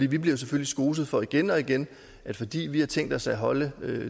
vi bliver selvfølgelig skoset for igen og igen fordi vi har tænkt os at holde